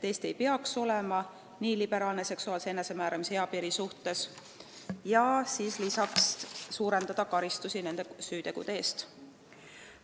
Eesti ei peaks tema arvates seksuaalse enesemääramise eapiiri suhtes nii liberaalne olema, ka tuleks karmistada karistusi nende süütegude eest.